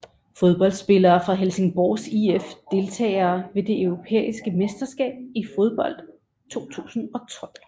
Fodboldspillere fra Helsingborgs IF Deltagere ved det europæiske mesterskab i fodbold 2012